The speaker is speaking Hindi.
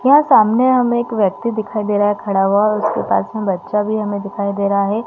यह सामने हमें एक व्यक्ति दिखाई दे रहा है खड़ा हुआ और उसके पास में बच्चा भी हमें दिखाई दे रहा हैं ।